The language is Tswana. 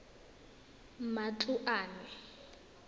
matloane